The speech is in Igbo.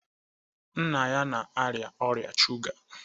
Nna ya na-arịa ọrịa shuga